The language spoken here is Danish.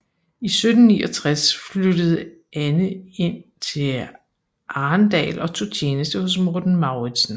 I 1769 flyttede Anne ind til Arendal og tog tjeneste hos Morten Mauritzen